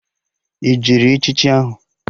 Ị jere echichi ahụ?